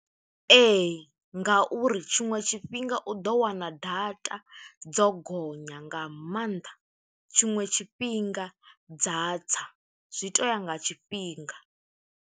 Ee, ngauri tshiṅwe tshifhinga u ḓo wana data dzo gonya, nga maanḓa. Tshiṅwe tshifhinga dza tsa, zwi to u ya nga tshifhinga.